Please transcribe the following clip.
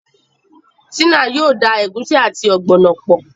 Tina yóò dá egusi àti ogbono pọ